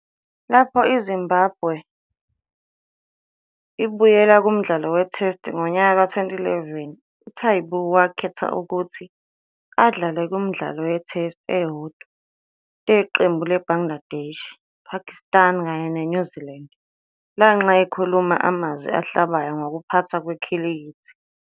Lapho iZimbabwe ibuyela kumdlalo weTest ngomnyaka ka2011, uTaibu wakhethwa ukuthi adlale kumidlalo yeTest eyodwa leqembu leBangladesh, Pakistan kanye leNew Zealand lanxa ekhulume amazwi ahlabayo ngokuphathwa kwekhilikithi.